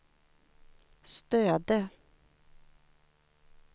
Stöde